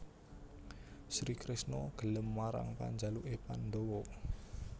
Sri Kresna gelem marang panjaluké pandhawa